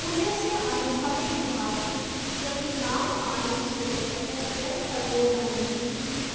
पुण्यस्यानुभवे विभाति कृतिनामानन्दरूपः स्वयं सर्वो नन्दति